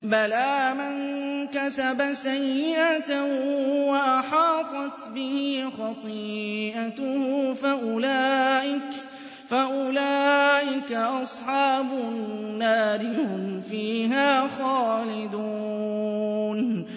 بَلَىٰ مَن كَسَبَ سَيِّئَةً وَأَحَاطَتْ بِهِ خَطِيئَتُهُ فَأُولَٰئِكَ أَصْحَابُ النَّارِ ۖ هُمْ فِيهَا خَالِدُونَ